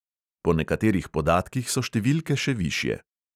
Po nekaterih podatkih so številke še višje.